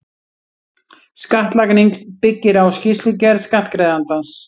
Skattlagning byggir á skýrslugerð skattgreiðandans.